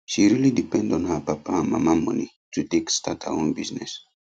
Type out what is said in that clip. she really depend on her papa and mama money to take start her own business